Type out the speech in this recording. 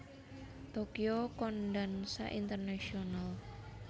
Tokyo Kondansha International